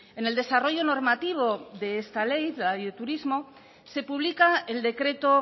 en el desarrollo normativo de esta ley la ley de turismo se publica el decreto